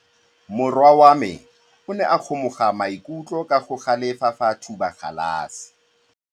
Morwa wa me o ne a kgomoga maikutlo ka go galefa fa a thuba galase.